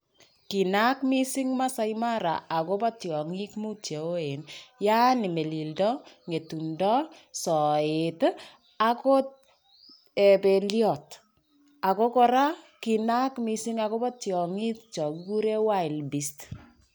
kinaak mising masai mara akobo tyongik mut cheyeoen yaani melildo ,ngetundo ,soetii akot belyot ako koraa kinaak missing akobo tyongik chokikuren [wildbeast].